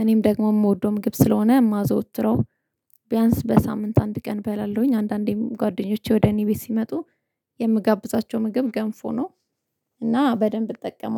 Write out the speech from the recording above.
እኔም ደግሞ የምወደው ምግብ ስለሆነ የማዘወትረው፣ ቢያንስ በሳምንት አንድ ቀን እበላለሁኝ። አንዳንዴም ጓደኞቼ ወደ እኔ ቤት ሲመጡ የምጋብዛቸው ምግብ ገንፎ ነው። እና በደንብ እጠቀመዋለሁ።